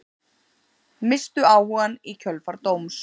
Misstu áhugann í kjölfar dóms